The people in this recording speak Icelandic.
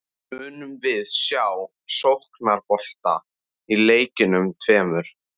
Munum við sjá sóknarbolta í leikjunum tveimur?